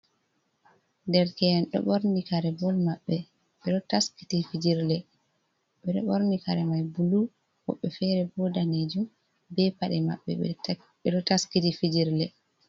Derke’en ɗo ɓorni kare bol maɓɓe ɓedo taskiti fijilre ɓeɗo ɓorni kare mai bulu woɓɓe fere bo danejum be paɗe mabɓe ɓe ɗo taskiti fijilre.